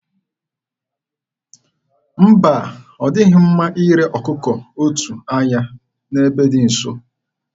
Mba, ọ dịghị mma ire ọkụkụ otu anya n'ebe dị nso.